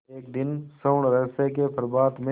एक दिन स्वर्णरहस्य के प्रभात में